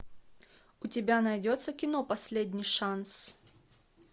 у тебя найдется кино последний шанс